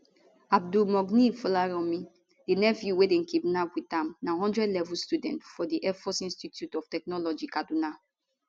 abdulmugniy folaranmi di nephew wey dem kidnap wit am na one hundred level student for di airforce institute of technology kaduna